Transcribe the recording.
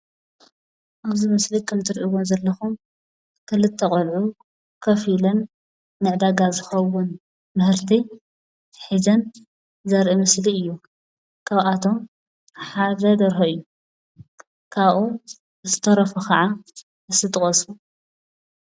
ኣብዚ ምስሊ ከም እትሪእዎም ዘለኹም ክልተ ቆልዑ ኮፍ ኢለን ንዕዳጋ ዝኸውን ምህርቲ ሒዘን ዘርኢ ምስሊ እዩ። ካበኣቶም ሓደ ደርሆ እዩ። ካብኡ ዝተረፉ ከዓ እስኪ ጥቀሱ?